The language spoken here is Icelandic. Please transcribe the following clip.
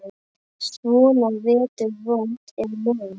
Svona vetur vont er mein.